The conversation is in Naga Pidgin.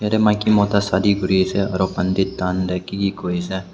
yate maiki mota shadi kori ase aru pandit khan tu ki ki koi ase.